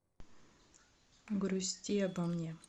грусти обо мне